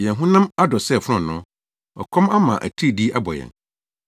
Yɛn honam adɔ sɛ fononoo. Ɔkɔm ama atiridii abɔ yɛn.